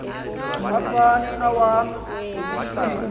afun awam umsila